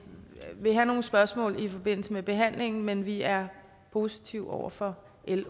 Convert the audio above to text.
vil have nogle spørgsmål i forbindelse med behandlingen men vi er positive over for l